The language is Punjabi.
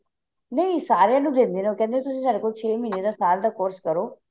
ਨਹੀਂ ਸਾਰਿਆਂ ਨੂੰ ਦਿੰਦੇ ਨੇ ਉਹ ਕਹਿੰਦੇ ਸਾਡੇ ਕੋਲ ਛੇ ਮਹਿੰਦੇ ਦਾ ਸਾਲ ਦਾ course ਕਰੋ